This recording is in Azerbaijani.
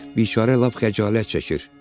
Biçarə lap xəcalət çəkir.